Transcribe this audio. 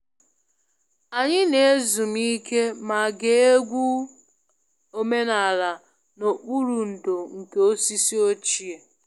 Anyị na-ezumike ma gee egwu omenala n'okpuru ndò nke osisi ochie